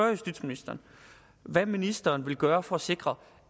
justitsministeren hvad ministeren vil gøre for at sikre